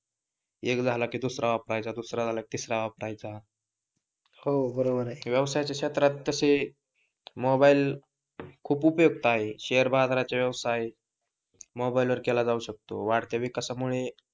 एक झाला कि दुसरा वापरायचा, दुसरा झाला कि तिसरा वापरायचा हो बरोबर आहे, व्यवसायाच्या क्षेत्रात तसे मोबाइल खूप उपयुक्त आहेत शेअर बाजाराच्या व्यवसायात मोबाइल वर केला जाऊ शकतो वाढत्या विकासामुळे,